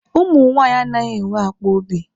Ụmụ nwaanyị anaghị enwe akpọ obi.